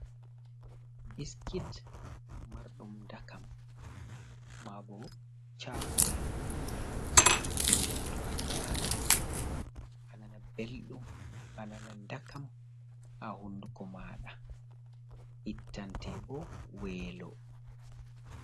Biskit marɗum ɗakam ma ɓo chakulet ɗum to a nyami a nana ɓelɗum a nana dakam ha hunduko maɗa, ittante ɓo welo.